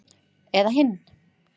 Eða hinn